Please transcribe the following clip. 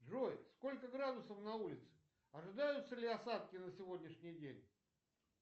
джой сколько градусов на улице ожидаются ли осадки на сегодняшний день